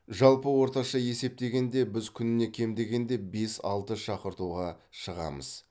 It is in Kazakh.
жалпы орташа есептегенде біз күніне кем дегенде бес алты шақыртуға шығамыз